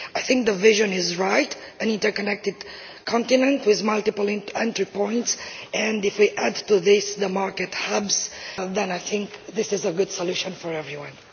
I think the vision is right an interconnected continent with multiple entry points and if we add to this the market hubs then I think this is a good solution for everyone.